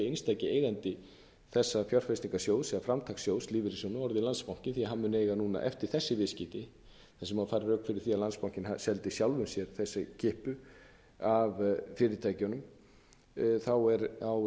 einstaki eigandi þessa fjárfestingasjóða eða framtakssjóðs lífeyrissjóðanna orðinn landsbanki því að hann mun eiga núna eftir þessi viðskipti þar sem má færa rök fyrir því að landsbankinn seldi sjálfum sér þessa kippu af fyrirtækjunum mun landsbankinn